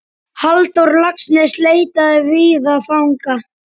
Halldór Laxness leitaði víða fanga.